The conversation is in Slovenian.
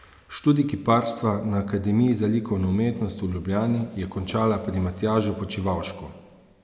Študij kiparstva na Akademiji za likovno umetnost v Ljubljani je končala pri Matjažu Počivavšku.